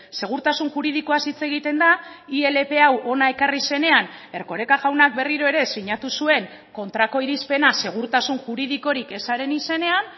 segurtasun juridikoaz hitz egiten da ilp hau hona ekarri zenean erkoreka jaunak berriro ere sinatu zuen kontrako irizpena segurtasun juridikorik ezaren izenean